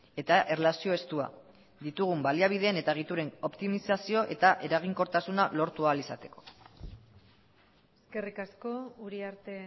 eta erlazio estua ditugun baliabideen eta egituren optimizazio eta eraginkortasuna lortu ahal izateko eskerrik asko uriarte